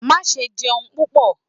ma sé jẹun pupọ!